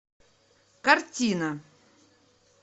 картина